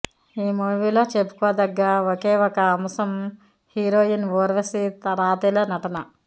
ఈ మూవీలో చెప్పుకోదగ్గ ఒకే ఒక అంశం హీరోయిన్ ఊర్వశి రాతెలా నటన